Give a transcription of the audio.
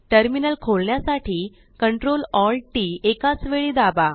Terminalखोलण्यासाठीCTRLALTTएकाच वेळी दाबा